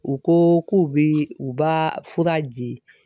U ko k'u bɛ u b'a fura di